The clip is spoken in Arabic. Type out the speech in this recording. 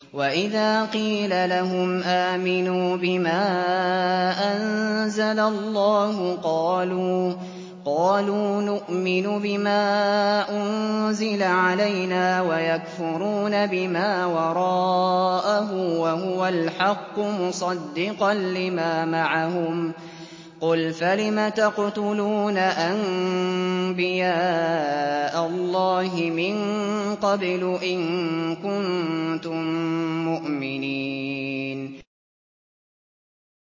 وَإِذَا قِيلَ لَهُمْ آمِنُوا بِمَا أَنزَلَ اللَّهُ قَالُوا نُؤْمِنُ بِمَا أُنزِلَ عَلَيْنَا وَيَكْفُرُونَ بِمَا وَرَاءَهُ وَهُوَ الْحَقُّ مُصَدِّقًا لِّمَا مَعَهُمْ ۗ قُلْ فَلِمَ تَقْتُلُونَ أَنبِيَاءَ اللَّهِ مِن قَبْلُ إِن كُنتُم مُّؤْمِنِينَ